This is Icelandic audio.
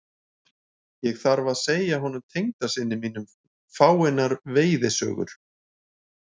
Ég þarf að segja honum tengdasyni mínum fáeinar veiðisögur.